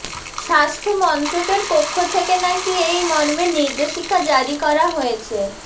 স্বাস্থ্যমন্ত্রকের পক্ষ থেকে নাকি এই মর্মে নির্দেশিকা জারি করা হয়েছে